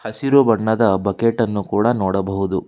ಹಸಿರು ಬಣ್ಣದ ಬಕೆಟ್ ಅನ್ನು ಕೂಡ ನೋಡಬಹುದು.